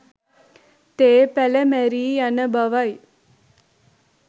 තේ පැළ මැරී යන බවයි